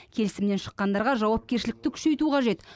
келісімнен шыққандарға жауапкершілікті күшейту қажет